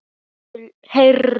Heru líka.